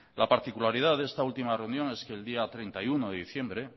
la particularidad de esta última reunión es que el día treinta y uno de diciembre